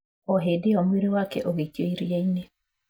O hĩndĩ ĩyo mwĩrĩ wake ũgĩikio iria-inĩ".